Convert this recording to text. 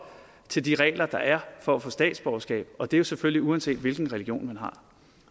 til de regler der er for at få statsborgerskab og det er jo selvfølgelig uanset hvilken religion man har